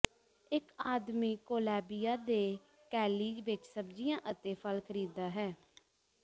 ਇੱਕ ਆਦਮੀ ਕੋਲੈਬੀਆ ਦੇ ਕੈਲੀ ਵਿੱਚ ਸਬਜ਼ੀਆਂ ਅਤੇ ਫਲ ਖਰੀਦਦਾ ਹੈ